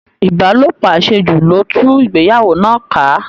Ìbálòpọ̀ àṣejù ló tú ìgbéyàwó náà ká